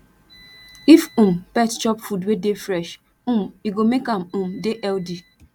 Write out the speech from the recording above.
if um pet chop food wey dey fresh um e go make am um dey healthy